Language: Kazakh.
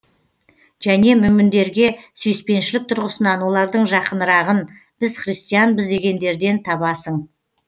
және мүміндерге сүйіспеншілік тұрғысынан олардың жақынырағын біз христианбыз дегендерден табасың